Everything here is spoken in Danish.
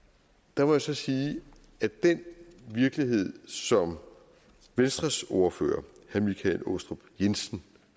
der må jeg så sige at den virkelighed som venstres ordfører herre michael aastrup jensen